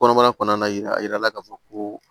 Kɔnɔmaya kɔnɔna yɛrɛ a yirala ka fɔ ko